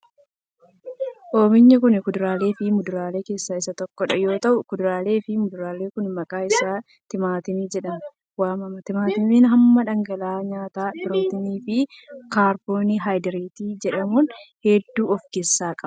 Oomishni kun kuduraa fi muduraa keessaa isa tokko yoo ta'u, kuduraa fi muduraan kun maqaan isaa timaatima jedhamee wamama. Timaatimni hamma dhangaalee nyaataa pirootinii fi kaarboo haydreetii jedhaman hedduu of keessaa qaba.